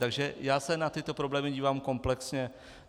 Takže já se na ty problémy dívám komplexně.